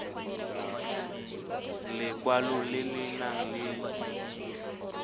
lekwalo le le nang le